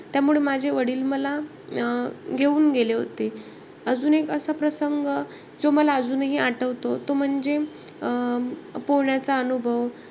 त्यामुळे माझे वडील मला अं घेऊन गेले होते. अजून एक असा प्रसंग, जो मला अजूनही आठवतो, तो म्हणजे अं पुण्याचा अनुभव.